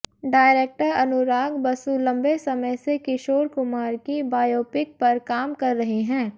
director Anurag Basu लंबे समय से किशोर कुमार की बायोपिक पर काम कर रहे हैं